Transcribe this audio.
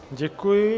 Děkuji.